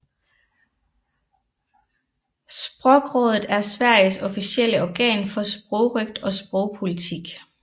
Språkrådet er Sveriges officielle organ for sprogrøgt og sprogpolitik